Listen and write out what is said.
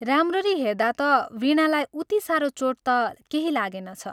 राम्ररी हेर्दा ता वीणालाई उति सारो चोट ता केही लागेनछ।